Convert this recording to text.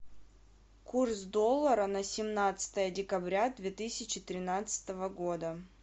курс доллара на семнадцатое декабря две тысячи тринадцатого года